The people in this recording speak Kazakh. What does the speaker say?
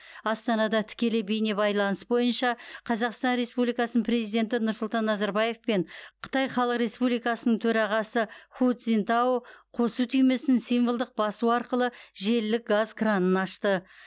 астанада тікелей бейнебайланыс бойынша қазақстан республикасының президенті нұрсұлтан назарбаев пен қытай халық республикасының төрағасы ху цзиньтао қосу түймесін символдық басу арқылы желілік газ кранын ашты